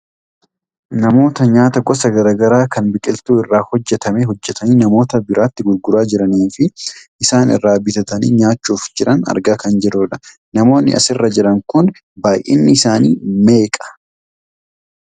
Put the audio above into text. Namoota nyaata gosa gara garaa kan biqiltuu irraa hojjatamee hojjatanii namoota biraatti gurguraa jiraniifi namoota isaan irraa bitatanii nyaachuuf jiran argaa kan jirrudha. Namoonni as irra jiran kun baayyinni isaanii meeqa?